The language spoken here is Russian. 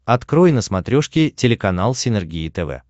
открой на смотрешке телеканал синергия тв